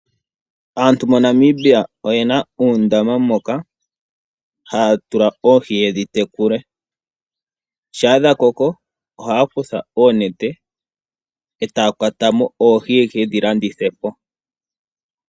Aantu moNamibia oyena uundama moka haya tula oohi yedhi tekule. Ngele dhakoko ohaya kutha oonete e taya kwata mo oohi yaka landithe.